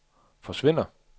forsvinder